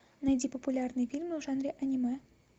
найди популярные фильмы в жанре аниме